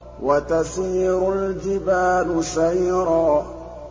وَتَسِيرُ الْجِبَالُ سَيْرًا